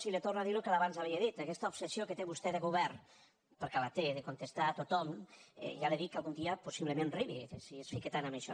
i li torno a dir el que abans havia dit aquesta obsessió que té vostè de govern perquè la té de contestar a tothom ja li dic que algun dia possiblement arribi si es fica tant en això